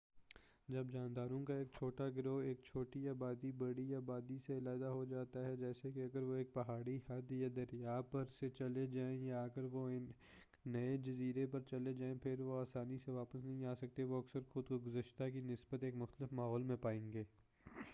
جب جانداروں کا ایک چھوٹا گروہ ایک چھوٹی آبادی بڑی آبادی سے علیحدہ ہو جاتا ہےجیسا کہ اگر وہ ایک پہاڑی حد یا دریا پر سے چلے جائیں، یا اگر وہ ایک نئے جزیرے پر چلے جائیں پھر وہ آسانی سے واپس نہیں آسکتے وہ اکثر خود کو گذشتہ کی نسبت ایک مختلف ماحول میں پائیں گے۔